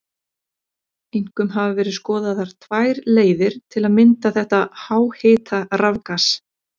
Einkum hafa verið skoðaðar tvær leiðir til að mynda þetta háhita rafgas.